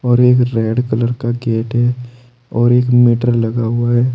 और एक red colour का गेट है और एक मीटर लगा हुआ है।